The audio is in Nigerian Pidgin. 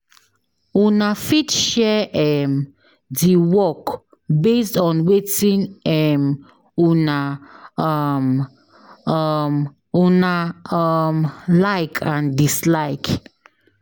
Una fit share um di work based on wetin um una um um una um like and dislike